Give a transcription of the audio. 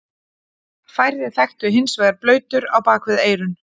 Færri þekktu hins vegar blautur á bak við eyrun.